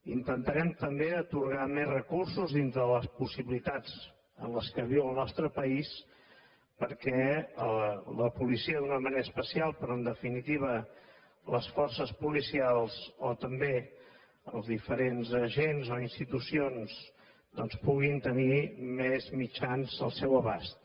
intentarem també atorgar més recursos dintre de les possibilitats en què viu el nostre país perquè la policia d’una manera especial però en definitiva les forces policials o també els diferents agents o institucions puguin tenir més mitjans al seu abast